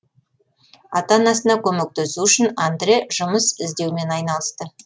ата анасына көмектесу үшін андре жұмыс іздеумен айналысты